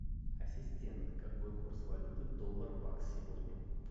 ассистент какой курс валюты доллар бакс сегодня